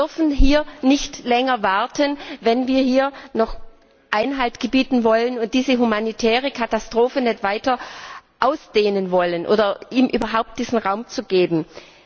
Wir dürfen hier nicht länger warten, wenn wir dem noch Einhalt gebieten wollen und diese humanitäre Katastrophe sich nicht weiter ausdehnen lassen wollen oder ihr überhaupt diesen Raum geben wollen.